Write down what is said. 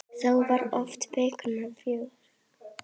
Þá var oft feikna fjör.